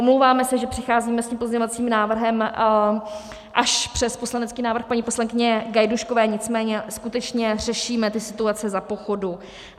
Omlouváme se, že přicházíme s tím pozměňovacím návrhem až přes poslanecký návrh paní poslankyně Gajdůškové, nicméně skutečně řešíme ty situace za pochodu.